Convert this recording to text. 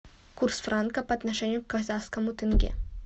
курс франка по отношению к казахскому тенге